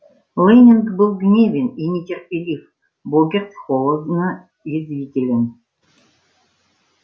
лэннинг был гневен и нетерпелив богерт холодно язвителен